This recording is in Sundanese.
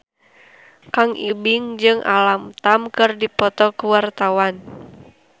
Kang Ibing jeung Alam Tam keur dipoto ku wartawan